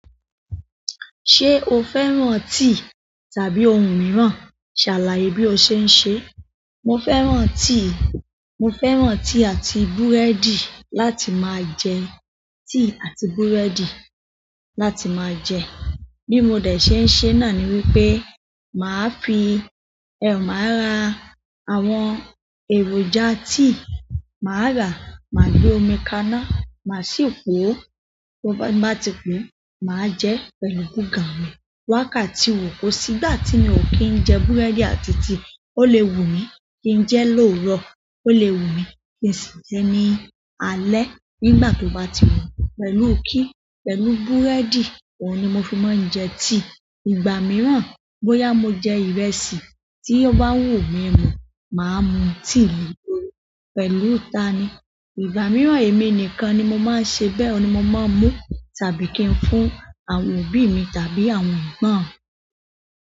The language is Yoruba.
Ṣé o fẹ́ràn tíì tàbí ohun mìíràn? Ṣàlàyé bí o ṣe ń ṣe. Mo fẹ́ràn tíì. Mo fẹ́ràn tíì àti búrẹ́dì láti máa jẹ. Tíì àti búrẹ́dì láti máa jẹ. Bí mo dẹ̀ ṣe ń ṣe náà ni wípé, màá fi-- ẹh máa ra àwọn èròjà tíì. Máa rà, máa gbé omi kaná, màá sì po ó. Bí ó, n ba ti po, màá jẹ pẹ̀lú búgan mi. Wákàtí wo kó sì gbà tí mi ò kí ń jẹ búrẹ́dì àti tíì. Ó lè wù mí kí ń jẹ lóoro, ó lè wù mí kí ń si jé ní alé nígbà tó bá ti wù mí. Pẹ̀lú kí? Pẹ̀lú búrẹ́dì. Ohun ni mo fi máa ń jẹ tíì. Ìgbà mìíràn, bóyá mo jẹ ìrẹsì tí ó bá wù mí mu, màá mu tíì le lórí. Pẹ̀lú ta ni? Ìgbà mìíràn, èmi nìkan ni mo máa ń ṣe bẹ́ẹ̀. E mi ni mo máa ń mú tàbí kí n fún àwọn òbí mi tàbí àwọn egbon mi.